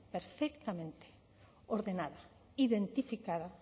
perfectamente ordenada identificada